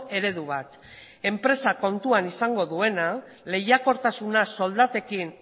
eredu bat enpresak kontuan izango duena lehiakortasuna soldatekin